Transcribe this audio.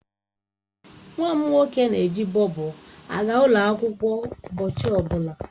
Nwa m nwoke na-eji Bobo aga ụlọ akwụkwọ ụbọchị ọbụla.